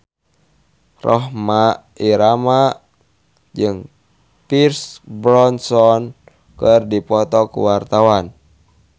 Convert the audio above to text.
Rhoma Irama jeung Pierce Brosnan keur dipoto ku wartawan